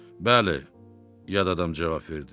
Bəli, yad adam cavab verdi.